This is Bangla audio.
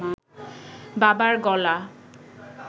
বাবার গলা